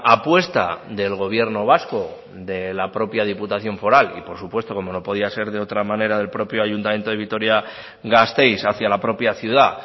apuesta del gobierno vasco de la propia diputación foral y por supuesto como no podía ser de otra manera del propio ayuntamiento de vitoria gasteiz hacia la propia ciudad